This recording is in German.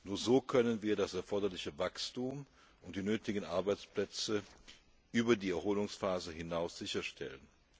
Nur so können wir das erforderliche Wachstum und die nötigen Arbeitsplätze über die Erholungsphase hinaus sicherstellen.